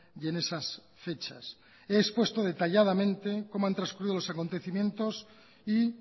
y en esas fechas y he expuesto detalladamente cómo han trascurrido los acontecimientos y